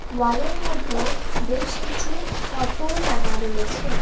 ওয়ালের মধ্যে বেশ কিছু ফটো লাগা রয়েছে।